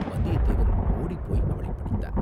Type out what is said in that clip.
வந்தியத்தேவன் ஓடிப்போய் அவளைப் பிடித்தான்.